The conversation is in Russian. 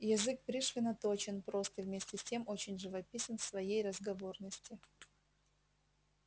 язык пришвина точен прост и вместе с тем очень живописен в своей разговорности